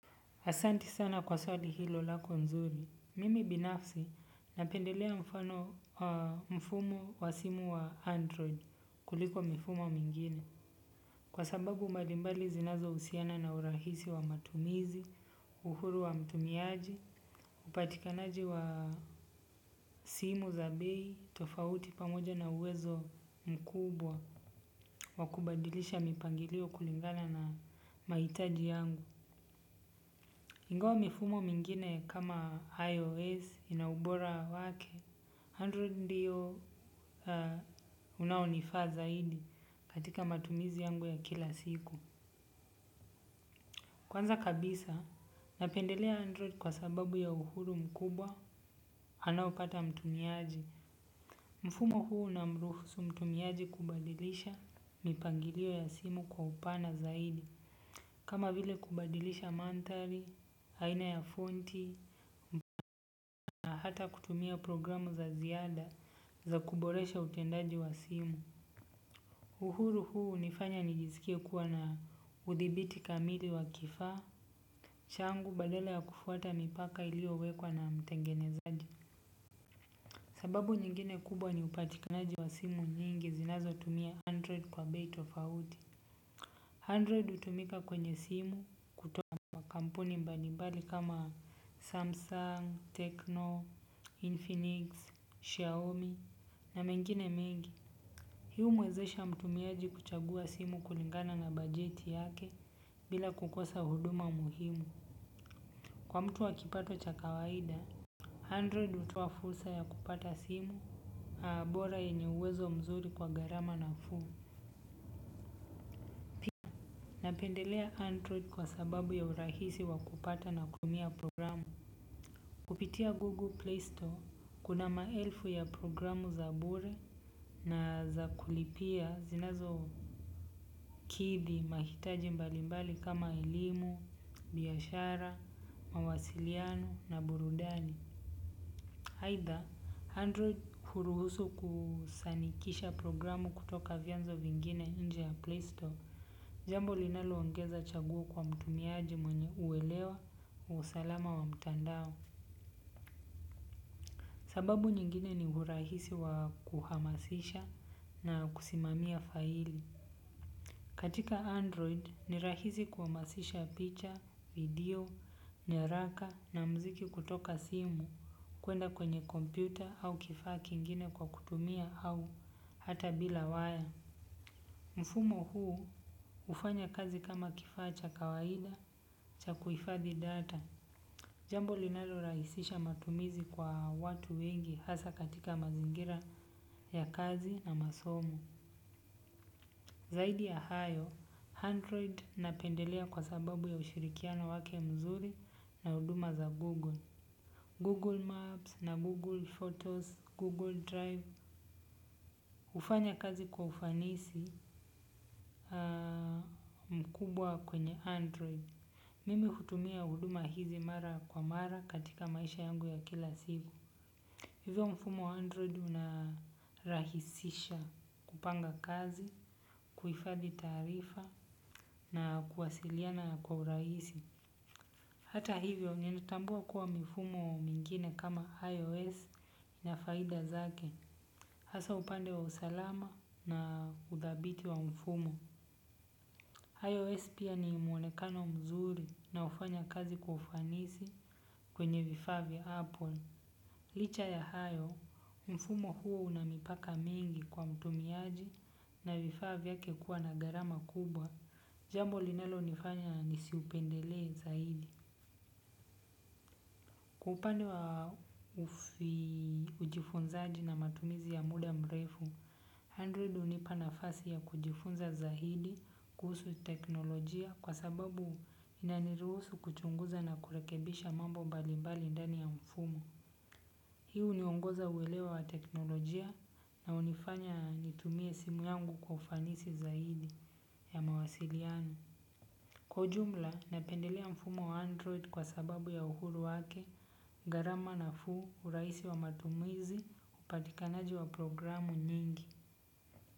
Asanti sana kwa swali hilo lako nzuri. Mimi binafsi napendelea mfumo wa simu wa Android kuliko mifumo mingine. Kwa sababu mbalimbali zinazohusiana na urahisi wa matumizi, uhuru wa mtumiaji, upatikanaji wa simu za bei tofauti pamoja na uwezo mkubwa, wa kubadilisha mipangilio kulingana na mahitaji yangu. Ingawa mifumo mingine kama IOS ina ubora wake Android ndiyo unaonifaa zaidi katika matumizi yangu ya kila siku. Kwanza kabisa, napendelea Android kwa sababu ya uhuru mkubwa, anaopata mtumiaji. Mfumo huu unamruhusu mtumiaji kubadilisha mipangilio ya simu kwa upana zaidi. Kama vile kubadilisha manthari, aina ya fonti, na hata kutumia programu za ziada za kuboresha utendaji wa simu. Uhuru huu hunifanya nijizikie kuwa na udhibiti kamili wa kifaa changu badala ya kufuata mipaka iliyowekwa na mtengenezaji. Sababu nyingine kubwa ni upatikanaji wa simu nyingi zinazotumia android kwa bei tofauti. Android hutumika kwenye simu kutoka kampuni mbalimbali kama Samsung, Techno, Infinix, Xiaomi na mengine mengi. Hii humuwezesha mtumiaji kuchagua simu kulingana na bajeti yake bila kukosa huduma muhimu. Kwa mtu wa kipato cha kawaida, Android hutoa fursa ya kupata simu bora yenye uhwezo mzuri kwa garama nafuu. Napendelea Android kwa sababu ya urahisi wa kupata na kutumia programu. Kupitia Google Play Store kuna maelfu ya programu za bure na za kulipia zinazokithi mahitaji mbalimbali kama elimu, biashara, mawasiliano na burudani. Aitha, Android huruhusu kusanikisha programu kutoka vyanzo vingine nje ya Play Store. Jambo linaloongeza chaguo kwa mtumiaji mwenye uwelewa usalama wa mtandao. Sababu nyingine ni urahisi wa kuhamasisha na kusimamia faili. Katika Android, ni rahisi kuamasisha picha, video, nyaraka na mziki kutoka simu. Kwenda kwenye kompyuta au kifaa kingine kwa kutumia au hata bila waya. Mfumo huu hufanya kazi kama kifaa cha kawaida cha kuhifadhi data. Jambo linalorahisisha matumizi kwa watu wengi hasa katika mazingira ya kazi na masomo. Zaidi ya hayo, android napendelea kwa sababu ya ushirikiano wake mzuri na huduma za google. Google maps and google photos, google drive hufanya kazi kwa ufanisi mkubwa kwenye android. Mimi hutumia huduma hizi mara kwa mara katika maisha yangu ya kila siku. Hivyo mfumo wa Android unarahisisha kupanga kazi, kuhifadhi taarifa na kuwasiliana kwa urahisi. Hata hivyo, nilitambua kuwa mfumo mwingine kama iOS una faida zake. Hasa upande wa usalama na udhabiti wa mfumo. iOS pia ni mwonekano mzuri na hufanya kazi kwa ufanisi kwenye vifaa vyaApple. Licha ya hayo, mfumo huo una mipaka mingi kwa mtumiaji na vifaa vyake kuwa na gharama kubwa. Jambo linalonifanya nisiupendele zaidi. Kwa upande wa ujifunzaji na matumizi ya muda mrefu, Android hunipana nafasi ya kujifunza zaidi kuhusu teknolojia kwa sababu inaniruhusu kuchunguza na kurekebisha mambo mbalimbali ndani ya mfumo. Hii huniongoza uwelewa wa teknolojia na hunifanya nitumie simu yangu kwa ufanisi zaidi ya mawasiliano. Kwa ujumla, napendelea mfumo wa Android kwa sababu ya uhuru wake, gharama nafuu, urahisi wa matumizi, upatikanaji wa programu nyingi.